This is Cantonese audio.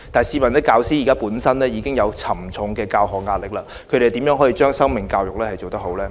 試問教師本身已有沉重的教學壓力，他們又如何把生命教育做得好呢？